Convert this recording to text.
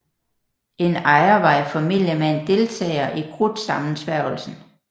En ejer var i familie med en deltager i Krudtsammensværgelsen